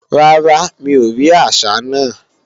Rárá, mi ò rí àsá náà